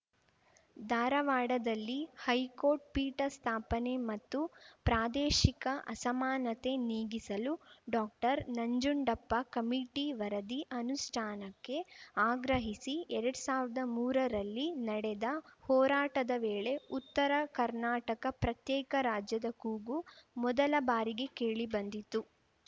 ಧಾರವಾಡದಲ್ಲಿ ಹೈಕೋರ್ಟ್‌ ಪೀಠ ಸ್ಥಾಪನೆ ಮತ್ತು ಪ್ರಾದೇಶಿಕ ಅಸಮಾನತೆ ನೀಗಿಸಲು ಡಾಕ್ಟರ್ನಂಜುಂಡಪ್ಪ ಕಮಿಟಿ ವರದಿ ಅನುಷ್ಠಾನಕ್ಕೆ ಆಗ್ರಹಿಸಿ ಎರಡ್ ಸಾವಿರ್ದಾ ಮೂರರಲ್ಲಿ ನಡೆದ ಹೋರಾಟದ ವೇಳೆ ಉತ್ತರ ಕರ್ನಾಟಕ ಪ್ರತ್ಯೇಕ ರಾಜ್ಯದ ಕೂಗು ಮೊದಲ ಬಾರಿಗೆ ಕೇಳಿ ಬಂದಿತ್ತು